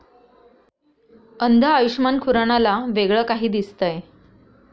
अंध आयुषमान खुरानाला वेगळं काही दिसतंय!